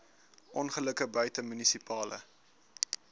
ongelukke buite munisipale